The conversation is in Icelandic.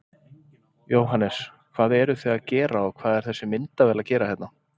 Jóhannes: Hvað eruð þið að gera og hvað er þessi myndavél að gera hérna?